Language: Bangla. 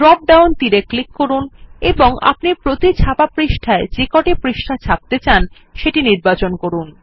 ড্রপ ডাউন তীর এ ক্লিক করুন এবং আপনি প্রতি ছাপা পৃষ্ঠায় যেকটি পৃষ্ঠা ছাপতে চান সেটি নির্বাচন করুন